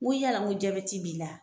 Ŋo yala ŋo jabɛti b'i la ?